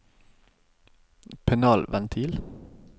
panelventil